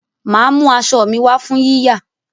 Màá mú aṣọ mi wá fún yíyà